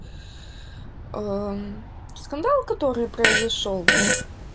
скандал который произошёл